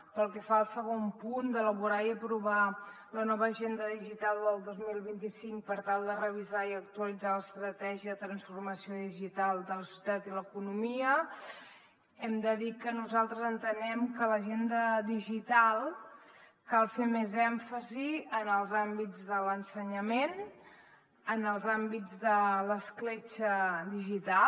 pel que fa al segon punt d’elaborar i aprovar la nova agenda digital del dos mil vint cinc per tal de revisar i actualitzar l’estratègia de transformació digital de la societat i l’economia hem de dir que nosaltres entenem que a l’agenda digital cal fer més èmfasi en els àmbits de l’ensenyament en els àmbits de l’escletxa digital